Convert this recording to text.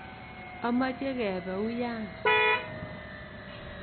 Amache kepe uya.